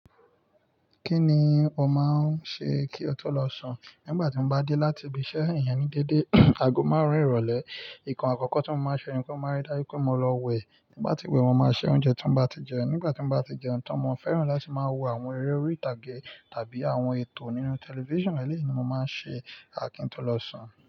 Kí ni ò máa ń ṣe kí o tó lọ sùn? Nígbà tí mo bá dé láti ibiṣẹ́ ìyẹn ní dédé ago máàrún ìrọ̀lẹ́. Nǹkan àkọ́kọ́ tí mo máa ń ṣe ni pé mo máa rí dájú pé mo lọ wẹ̀. Tí mo bá ti wẹ̀, mo máa ṣe oúnjẹ tí mo bá ti jẹ. Nígbà tí mo bá ti jẹ oúnjẹ tán mo fẹ́ràn láti máa wo àwọn eré orí ìtàgé tàbí àwọn ètò nínú tẹlifíṣàn, eléyí ni mo máa ń ṣe kí n tó lọ sùn.